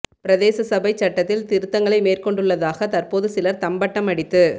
பிரதேச சபைச் சட்டத்தில் திருத்தங்களை மேற்கொண்டுள்ளதாக தற்போது சிலர் தம்பட்டம் அடித்து